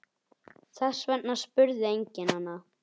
Þess vegna spurði enginn hana.